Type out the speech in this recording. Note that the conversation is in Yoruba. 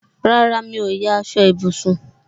Rárá, mi ò ya aṣọ ìbùsùn